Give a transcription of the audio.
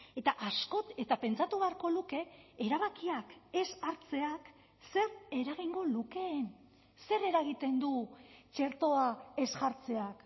eta askok eta pentsatu beharko luke erabakiak ez hartzeak zer eragingo lukeen zer eragiten du txertoa ez jartzeak